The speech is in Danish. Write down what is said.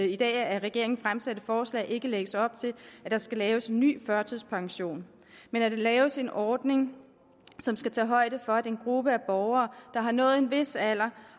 i dag af regeringen fremsatte forslag ikke lægges op til at der skal laves en ny førtidspension men at der laves en ordning som skal tage højde for at den gruppe af borgere der har nået en vis alder